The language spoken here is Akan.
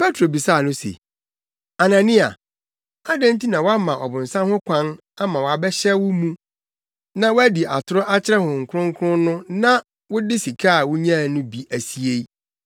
Petro bisaa no se, “Anania, adɛn nti na woama ɔbonsam ho kwan ama wabɛhyɛ wo mu na woadi atoro akyerɛ Honhom Kronkron no na wode sika a wunyaa no bi asie?